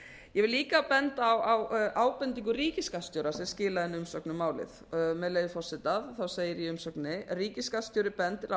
vil líka benda á ábendingu ríkisskattstjóra sem skilaði inn umsögn um málið með leyfi forseta segir í umsögninni ríkisskattstjóri bendir